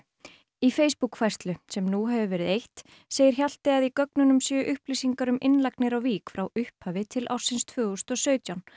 í Facebook færslu sem nú hefur verið eytt segir Hjalti að í gögnunum séu upplýsingar um innlagnir á Vík frá upphafi til ársins tvö þúsund og sautján